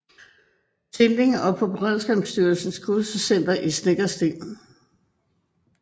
Tinglev og på Beredskabsstyrelsens Kursuscenter i Snekkersten